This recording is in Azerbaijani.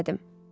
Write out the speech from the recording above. Gülümsədim.